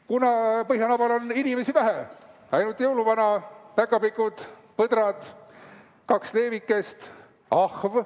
Kuna põhjanabal on inimesi vähe, ainult jõuluvana, päkapikud, põdrad, kaks leevikest, ahv ...